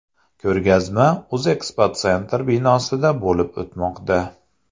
Ko‘rgazma O‘zeksposentr binosida bo‘lib o‘tmoqda.